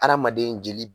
Adamaden jeli